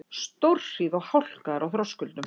Stórhríð og hálka er á Þröskuldum